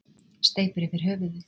Steypir yfir höfuðið.